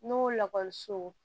N'o lakɔliso